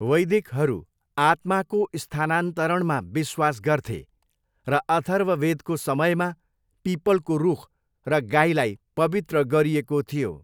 वैदिकहरू आत्माको स्थानान्तरणमा विश्वास गर्थे, र अथर्ववेदको समयमा पिपलको रुख र गाईलाई पवित्र गरिएको थियो।